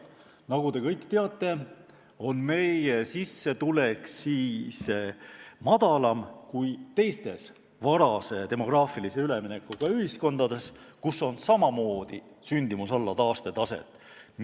Nagu te kõik teate, on meie keskmine sissetulek madalam kui teistes varase demograafilise üleminekuga ühiskondades, kus on samamoodi sündimus alla taastetaset.